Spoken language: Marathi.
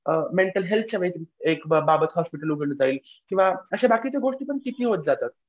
अ मेंटल हेल्थच्या बाबत एक हॉस्पिटल उघडलं पाहिजे किंवा असे बाकीच्या गोष्टी पण किती होत जातात.